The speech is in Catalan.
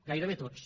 gairebé tots